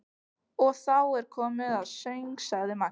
Og þá er komið að söng, sagði Maggi.